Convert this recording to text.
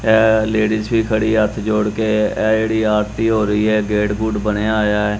ਐ ਲੇਡੀਜ ਵੀ ਖੜੀ ਹੱਥ ਜੋੜ ਕੇ ਇਹ ਜਿਹੜੀ ਆਰਤੀ ਹੋ ਰਹੀ ਐ ਗੇਟ ਗੁਟ ਬਣਿਆ ਹੋਇਆ ਐ।